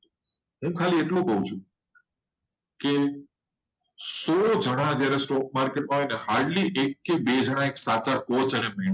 હું ખાલી આટલું કાવ છું કે સો જણા જ્યારે stokemarket માં હોય. hardly એક કાતો બે સાચા mentor હોય.